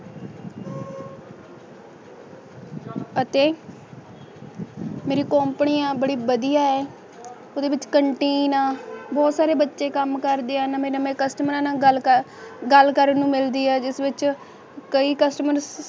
ਅਤੇ ਮੇਰਿ ਕੰਪਨੀ ਆ ਬੜੀ ਵਾਦੀਆਂ ਹੈ ਉਡਦੇ ਵਿਚ ਕੈਨਟੀਨ ਆ ਬੋਹਤ ਸਾਰੇ ਬੱਚੀ ਕਾਮ ਕਰਦੇ ਆ ਨਾਵਯ ਨਾਵਯ ਕੋਸਤੁਮਰਾਂ ਨਾਲ ਗੱਲ ਕਰਨ ਨੂੰ ਮਿਲਦੀ ਹੈ ਜਿਸ ਵਿਚ ਕੇ ਕਸਟਮਰ